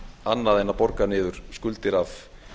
annað en borga niður skuldir af